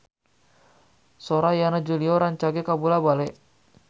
Sora Yana Julio rancage kabula-bale